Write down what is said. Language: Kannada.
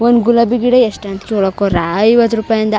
ಒಂದ್ ಗುಲಾಬಿಗಿಡ ಎಷ್ಟ ಅಂಟ್ಸ್ ಕೊಳಕ್ಕೋ ರಾಯ್ ಐವತ್ತು ರುಪಾಯ್ ಅಂದಾ .